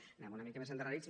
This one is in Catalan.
anem una mica més endarrerits